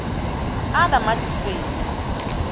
others v magistrate